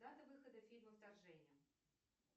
дата выхода фильма вторжение